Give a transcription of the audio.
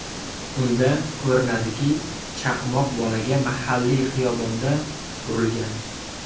Unda ko‘rinadiki, chaqmoq bolaga mahalliy xiyobonda urilgan.